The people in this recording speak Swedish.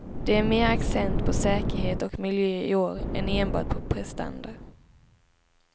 Det är mer accent på säkerhet och miljö i år, än enbart på prestanda.